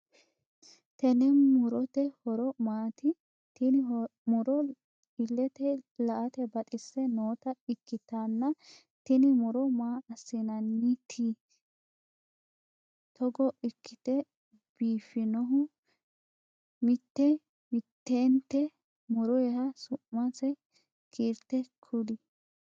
Tenne murote horo maati? Tinni muro ilete la'ate baxise noota ikitanna tinni muro maa asineenaati tugo ikite biifinohu? Mite mitente muroha su'mansa kiirte kuli?